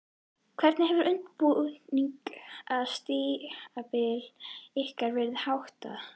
Hvernig hefur undirbúningstímabili ykkar verið háttað?